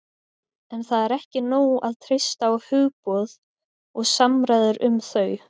en það er ekki nóg að treysta á hugboð og samræður um þau